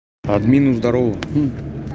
админу здарово